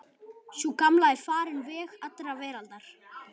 Sú gamla er farin veg allrar veraldar.